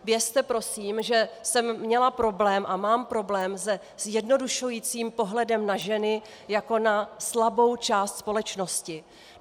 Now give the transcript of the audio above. Vězte prosím, že jsem měla problém a mám problém se zjednodušujícím pohledem na ženy jako na slabou část společnosti.